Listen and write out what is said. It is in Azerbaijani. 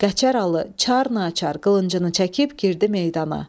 Qəçər Alı çarnəçar qılıncını çəkib girdi meydana.